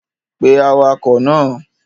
Pe awakọ̀ náà!